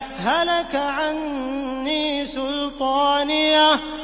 هَلَكَ عَنِّي سُلْطَانِيَهْ